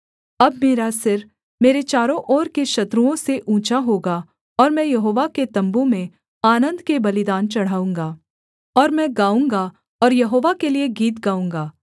अब मेरा सिर मेरे चारों ओर के शत्रुओं से ऊँचा होगा और मैं यहोवा के तम्बू में आनन्द के बलिदान चढ़ाऊँगा और मैं गाऊँगा और यहोवा के लिए गीत गाऊँगा